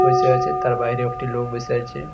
বসে আছে তার বাইরেও একটি লোক বসে আছে।